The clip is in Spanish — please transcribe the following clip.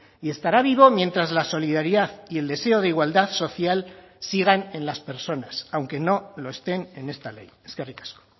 y estará vivo mientras la solidaridad y el deseo de igualdad social sigan en las personas aunque no lo estén en esta ley eskerrik asko